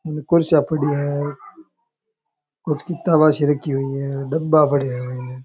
उने कुर्सियां पड़ी है कुछ किताबां सी रखी हुई है डब्बा पड़या है।